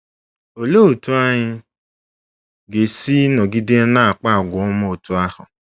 Olee otú anyị ga-esi nọgide na-akpa àgwà ọma otú ahụ?